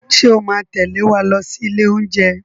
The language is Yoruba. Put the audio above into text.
Ṣé o máa tẹ̀lé wa lọ sí ilé oúnjẹ?